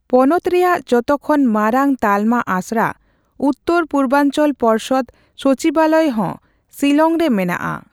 ᱯᱚᱱᱚᱛ ᱨᱮᱭᱟᱜ ᱡᱚᱛᱚᱠᱷᱚᱱ ᱢᱟᱨᱟᱝ ᱛᱟᱞᱢᱟ ᱟᱥᱲᱟ ᱩᱛᱛᱚᱨᱼᱯᱩᱨᱵᱟᱧᱪᱚᱞ ᱯᱚᱨᱥᱚᱫ ᱥᱚᱪᱤᱵᱟᱞᱚᱭ ᱦᱚ ᱥᱤᱞᱚᱝ ᱨᱮ ᱢᱮᱱᱟᱜᱼᱟ ᱾